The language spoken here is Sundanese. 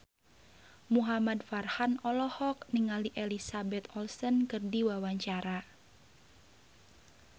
Muhamad Farhan olohok ningali Elizabeth Olsen keur diwawancara